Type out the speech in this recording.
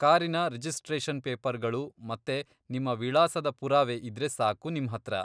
ಕಾರಿನ ರಿಜಿಸ್ಟ್ರೇಷನ್ ಪೇಪರ್ಗಳು ಮತ್ತೆ ನಿಮ್ಮ ವಿಳಾಸದ ಪುರಾವೆ ಇದ್ರೆ ಸಾಕು ನಿಮ್ಹತ್ರ.